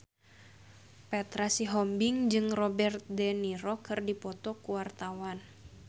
Petra Sihombing jeung Robert de Niro keur dipoto ku wartawan